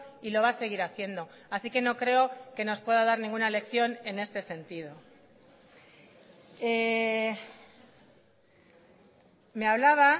y lo va a seguir haciendo así que no creo que nos pueda dar ninguna lección en este sentido me hablaba